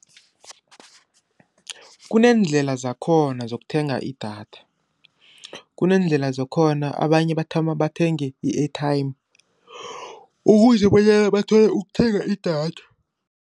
Kuneendlela zakhona zokuthenga idatha, abanye bathoma bathenge i-airtime, ukuze bonyana bathole ukuthenga idatha.